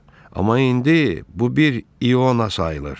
Amma indi bu bir iona sayılır.